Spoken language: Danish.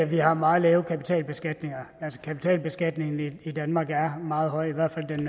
vi har meget lav kapitalbeskatning kapitalbeskatningen i danmark er meget høj i hvert